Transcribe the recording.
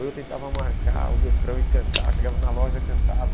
Ou eu tentava marcar o refrão e cantar, chegava na loja e cantava.